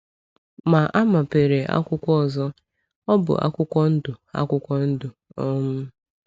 Ma a mepere akwụkwọ ọzọ; ọ bụ akwụkwọ ndụ. akwụkwọ ndụ. um